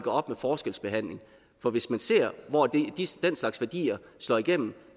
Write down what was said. op med forskelsbehandling for hvis man ser hvor den slags værdier slår igennem